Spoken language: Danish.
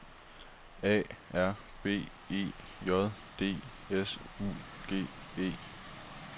A R B E J D S U G E